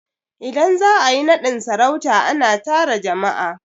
Idan za a yi naɗin sarauta, a na tara jama'a